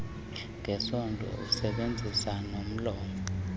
ngesondo usebenzisa nomlomo